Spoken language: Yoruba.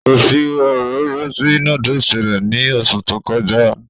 Kò fi òróró sí núdùsì rẹ̀ ní oṣù tó kọjá